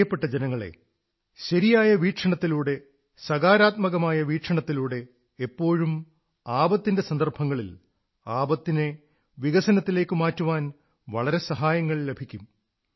പ്രിയപ്പെട്ട ജനങ്ങളേ ശരിയായ വീക്ഷണത്തിലൂടെ സകാരാത്മകമായ വീക്ഷണത്തിലൂടെ എപ്പോഴും ആപത്തിന്റെ സന്ദർഭങ്ങളിൽ ആപത്തിനെ വികസനത്തിലേക്കു മാറ്റാൻ വളരെ സഹായങ്ങൾ ലഭിക്കും